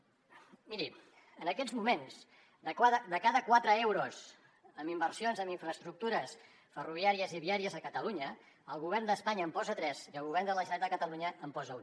miri en aquests moments de cada quatre euros en inversions en infraestructures ferroviàries i viàries a catalunya el govern d’espanya en posa tres i el govern de la generalitat de catalunya en posa un